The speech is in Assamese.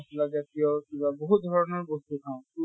মচলা জাতিয় কিবা বহুত ধৰণৰ বস্তু খাওঁ। কি